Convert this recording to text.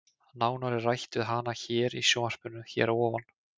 Nánar er rætt við hana hér í sjónvarpinu hér að ofan.